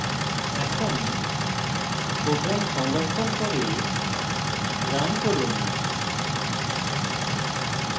এখন program সংরক্ষণ করে run run